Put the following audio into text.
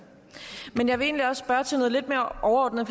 men jeg vil egentlig også spørge til noget lidt mere overordnet